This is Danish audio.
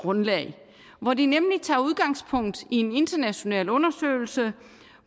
grundlag hvor de tager udgangspunkt i en international undersøgelse